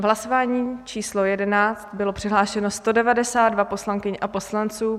V hlasování číslo 11 bylo přihlášeno 192 poslankyň a poslanců.